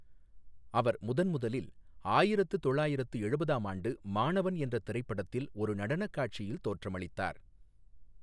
அவர் முதன் முதலில் ஆயிரத்து தொள்ளாயிரத்து எழுபதாம் ஆண்டு 'மாணவன்' என்ற திரைப்படத்தில் ஒரு நடனக் காட்சியில் தோற்றமளித்தார்.